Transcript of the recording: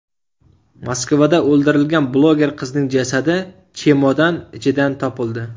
Moskvada o‘ldirilgan bloger qizning jasadi chemodan ichidan topildi.